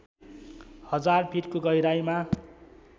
हजार फिटको गहिराईमा